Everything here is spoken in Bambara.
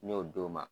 N y'o d'o ma